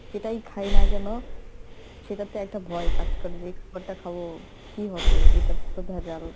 যেটাই খাই না কেন সেটাতে একটা ভয় কাজ করে যে এই খাবারটা খাবো কি হবে এইটাতে তো ভেজাল